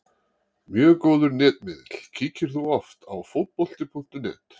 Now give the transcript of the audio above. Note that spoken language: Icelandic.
Mjög góður netmiðill Kíkir þú oft á Fótbolti.net?